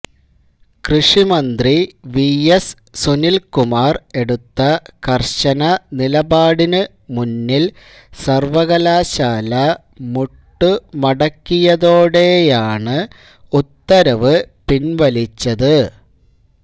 കൃഷിമന്ത്രി വിഎസ് സുനില് കുമാര് എടുത്ത കര്ശന നിലപാടിന് മുന്നില് സര്വ്വകലാശാല മുട്ടുമടക്കിയതോടെയാണ് ഉത്തരവ് പിന്വലിച്ചത്